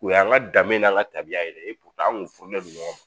U y'an ka danbe n'an ka tabiya yɛrɛ ye an kun funen don ɲɔgɔn ma